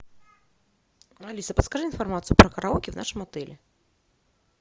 алиса подскажи информацию про караоке в нашем отеле